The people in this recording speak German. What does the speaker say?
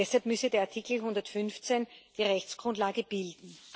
Deshalb müsse der Artikel 115 die Rechtsgrundlage bilden.